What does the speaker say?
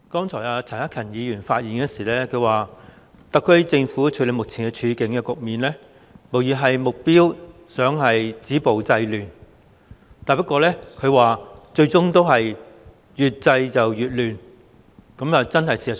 主席，陳克勤議員剛才發言時說，特區政府處理目前的局面，無疑旨在止暴制亂，不過最終卻越制越亂，這確是事實。